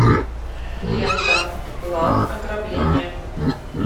лента план ограбления